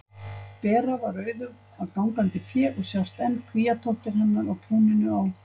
Bera var auðug af gangandi fé og sjást enn kvíatóftir hennar í túninu á